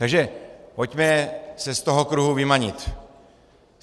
Takže pojďme se z toho kruhu vymanit.